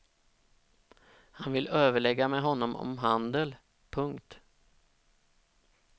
Han vill överlägga med honom om handel. punkt